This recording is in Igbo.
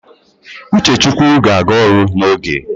Uchechukwu ga-aga ọrụ n'oge